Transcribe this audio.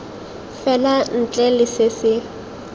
fela ntle le se se